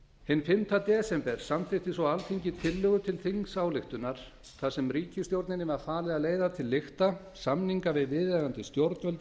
hinn fimmta desember samþykkti svo alþingi tillögu til þingsályktunar þar sem ríkisstjórninni var falið að leiða til lykta samninga við viðeigandi stjórnvöld